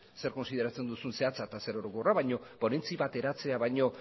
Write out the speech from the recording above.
zer kontsideratzen duzun zehatza eta zer orokorra baina ponentzi bat eratzea baino